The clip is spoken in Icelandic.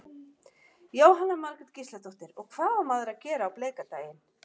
Jóhanna Margrét Gísladóttir: Og hvað á maður að gera á bleika daginn?